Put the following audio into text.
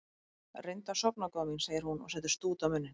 Reyndu að sofna góða mín, segir hún og setur stút á munninn.